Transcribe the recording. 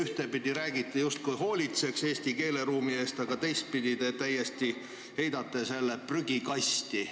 Ühtepidi räägite, justkui hoolitsetaks eesti keeleruumi eest, aga teistpidi te heidate selle täiesti prügikasti.